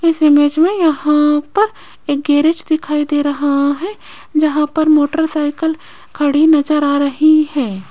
इस इमेज में यहां पर एक गैरेज दिखाई दे रहा है जहां पर मोटरसाइकल खड़ी नजर आ रही है।